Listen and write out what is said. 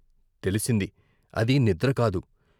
తెలిసింది, అది నిద్రకాదు.